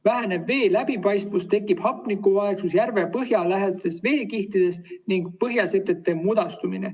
Väheneb vee läbipaistvus, tekib hapnikuvaegus järve põhja lähedastes veekihtides ning põhjasetete mudastumine.